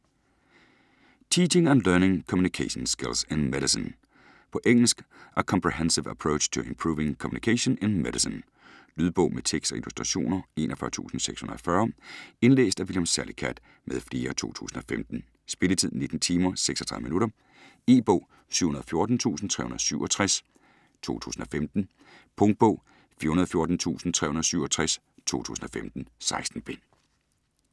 Teaching and learning communication skills in medicine På engelsk. A comprehensive approach to improving communication in medicine. Lydbog med tekst og illustrationer 41640 Indlæst af William Salicath m.fl, 2015. Spilletid: 19 timer, 36 minutter. E-bog 714367 2015. Punktbog 414367 2015. 16 bind.